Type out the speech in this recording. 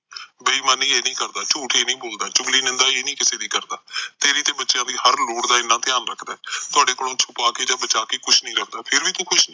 ਬਈਮਾਨੀ ਇਹ ਨਹੀਂ ਕਰਦਾ, ਚੂਠ ਇਹ ਨਹੀਂ ਬੋਲਦਾ, ਚੁਗਲੀ ਨਿਦਾ ਇਹ ਨਹੀਂ ਕਿਸੇ ਦੀ ਕਰਦਾ ਤੇਰੀ ਤੇ ਬੱਚਿਆਂ ਦੀ ਹਰ ਲੋੜ ਦਾ ਏਨਾ ਧਿਆਨ ਰੱਖਦਾ ਏ ਤੁਹਾਡੇ ਕੋਲੋਂ ਛੁਪਾ ਕੇ ਜਾ ਬਚਾ ਕੇ ਕੁਝ ਨਹੀਂ ਲਿਓਂਦਾ ਪਰ ਫਿਰ ਵੀ ਤੂੰ